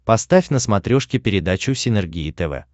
поставь на смотрешке передачу синергия тв